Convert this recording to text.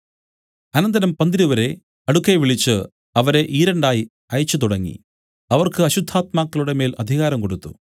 അനന്തരം അവൻ പന്തിരുവരെ അടുക്കെ വിളിച്ചു അവരെ ഈരണ്ടായി അയച്ചു തുടങ്ങി അവർക്ക് അശുദ്ധാത്മാക്കളുടെ മേൽ അധികാരം കൊടുത്തു